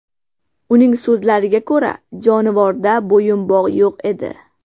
Uning so‘zlariga ko‘ra, jonivorda bo‘yinbog‘ yo‘q edi.